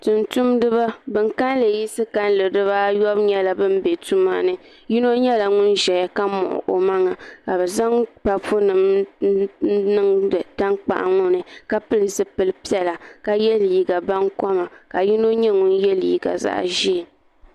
tumtumdiba bin kanli yiɣisi bibaayobu nyɛla bin bɛ tuma ni yino nyɛla ŋun ʒɛya ka muɣi o maŋa ka bi zaŋ papu nim n niŋdi tankpaɣu ŋo ni ka pili zipili piɛla ka yɛ liiga baŋkoma ka yino nyɛ ŋun yɛ liiga zaɣ ʒiɛ